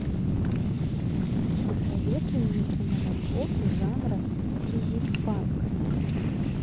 посоветуй мне киноработу жанра дизельпанк